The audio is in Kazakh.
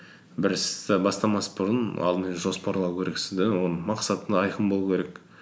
бір істі бастамас бұрын алдымен жоспарлау керексің де оның мақсатың айқын болу керек